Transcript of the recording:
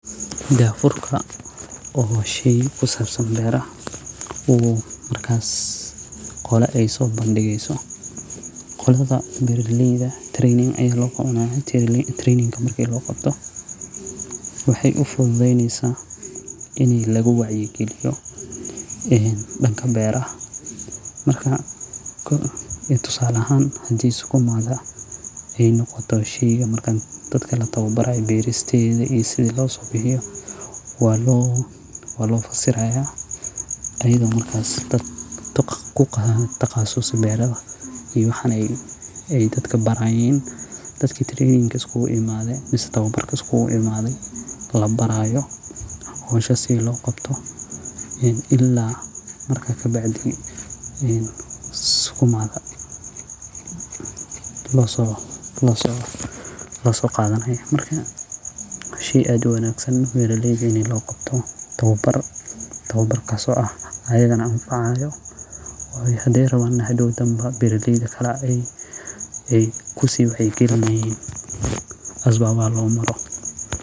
Dafurka waa shey kusaabsan beeraha oo markas qola ey soo bandigeyso qoladha beeraleyda training ayaa loo qabanay training ka marki looqabto waxey ufudhuhdeneysa ini lagu wacyi galiyo danka beeraha marka tusaale ahaan hadi liskuimadha ey noqoto sheyga markan dadka latoowbaraya beeristedha iyo sidhii loosobixiyo waa loo fasiraya iyadho markas oo dad kutaqasusaka beeradha iyo waxan ey dadka barayaan dadka training iskuguimadhe mise towbarka iskuguimadhe labaraayo howsha sidha loo qabto ila marka kabacdi ukumaga loosoqadhanaya ,arka shey aad uwanaagsan beeraleyda in looqabto towbar towbarkaas oo ah iyagana anfacaayo hade rawaan in hadow danbo beri gedhi kala ey kusiiwacyi galinayiin asbaabaha loo maro.